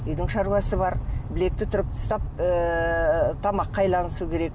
үйдің шаруасы бар білекті түріп тастап ііі тамаққа айналысу керек